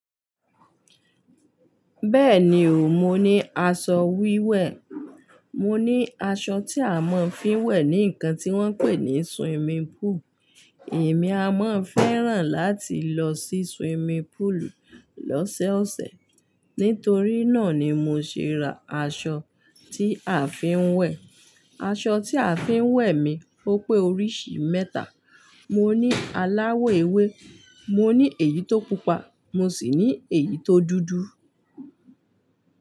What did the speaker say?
Bẹ́ẹ̀ni o, mo ní aṣọ wíwẹ̀. Mo ní aṣọ tí a máa ń fi ń wẹ̀ ní nǹkan tí wọ́n ń pè ní swimming pool. Èmi a máa ń fẹ́ràn láti lọ sí swimming pool lọ́sọ̀ọ̀sẹ̀. Nítorí náà ni mo ṣe ra aṣọ tí a fi ń wẹ̀. Aṣọ tí a fi ń wẹ̀ mi ó pé oríṣi mẹ́ta. Mo ní aláwọ̀ ewé, mo ní èyí tó pupa, mo sì ní èyí tó dúdú.